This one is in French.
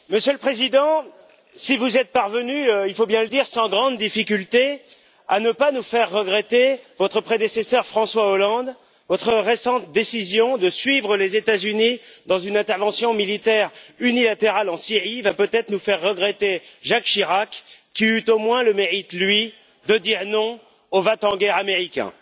Monsieur le Président, si vous êtes parvenu il faut bien le dire sans grande difficulté à ne pas nous faire regretter votre prédécesseur, François Hollande, votre récente décision de suivre les États Unis dans une intervention militaire unilatérale en Syrie va peut être nous faire regretter Jacques Chirac, qui eut au moins le mérite, lui, de dire non aux va t en guerre américains.